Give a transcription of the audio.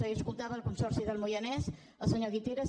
ahir escoltava el consorci del moianès el senyor guiteras